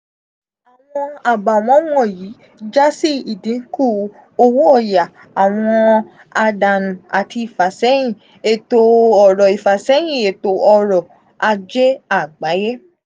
awọn abawọn wọnyi ja si idinku owo oya awọn adanu ati ifasẹhin eto oro ifasẹhin eto oro aje agbaye.